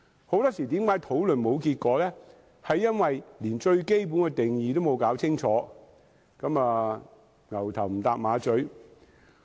很多時候，討論沒有結果，是因為連最基本的定義也沒有弄清楚，大家"牛頭唔搭馬嘴"。